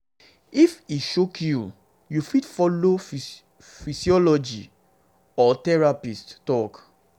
if e choke you you fit follow psychologist or therapist talk